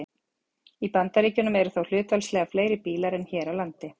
Í Bandaríkjunum eru þó hlutfallslega fleiri bílar en hér á landi.